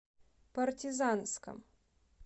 партизанском